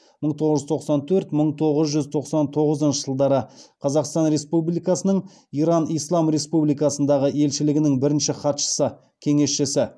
мың тоғыз жүз тоқсан төрт мың тоғыз жүз тоқсан тоғызыншы жылдары қазақстан республикасының иран ислам республикасындағы елшілігінің бірінші хатшысы кеңесшісі